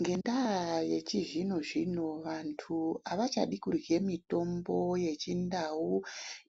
Ngendaa yechizvino-zvino vantu havachadi kurye mitombo yechindau